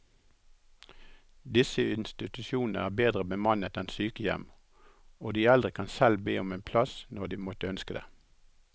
Disse institusjonene er bedre bemannet enn sykehjem, og de eldre kan selv be om en plass når de måtte ønske det.